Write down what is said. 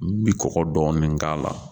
N bi kɔgɔ dɔɔni k'a la.